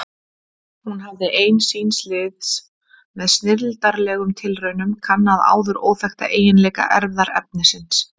Hún hafði ein síns liðs með snilldarlegum tilraunum kannað áður óþekkta eiginleika erfðaefnisins.